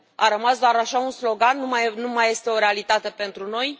A rămas doar așa un slogan, nu mai este o realitate pentru noi?